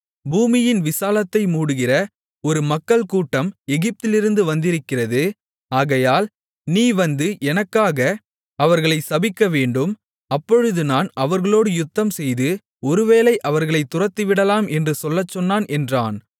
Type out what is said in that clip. பூமியின் விசாலத்தை மூடுகிற ஒரு மக்கள்கூட்டம் எகிப்திலிருந்து வந்திருக்கிறது ஆகையால் நீ வந்து எனக்காக அவர்களைச் சபிக்கவேண்டும் அப்பொழுது நான் அவர்களோடு யுத்தம்செய்து ஒருவேளை அவர்களைத் துரத்திவிடலாம் என்று சொல்லச்சொன்னான் என்றான்